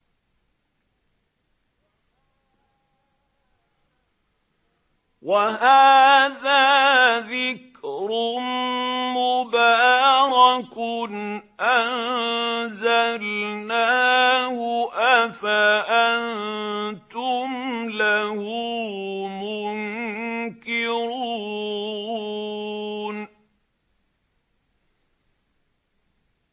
وَهَٰذَا ذِكْرٌ مُّبَارَكٌ أَنزَلْنَاهُ ۚ أَفَأَنتُمْ لَهُ مُنكِرُونَ